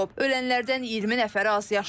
Ölənlərdən 20 nəfəri azyaşlıdır.